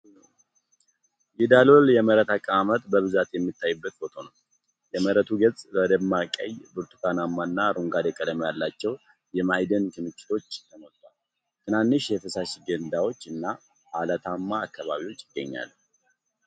የዳሎል የመሬት አቀማመጥ በብዛት የሚታይበት ፎቶ ነው። የመሬቱ ገጽ በደማቅ ቀይ፣ ብርቱካናማ እና አረንጓዴ ቀለም ባላቸው የማዕድን ክምችቶች ተሞልቷል። ትናንሽ የፈሳሽ ገንዳዎች እና ዐለትማ አካባቢዎች ይገኛሉ።